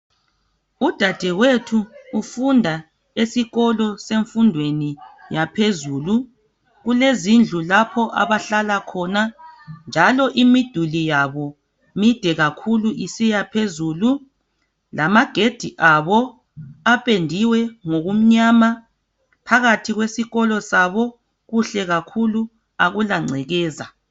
Udadewethu ufunda esikolo semfundweni yaphezulu kulezindlu lapho abahlala khona, njalo imiduli yabo mide kakhulu isiya phezulu, lamagedi abo apendiwe ngokumnyama. Phakathi kwesikolo sabo kuhle kakhulu akula ngcekeza.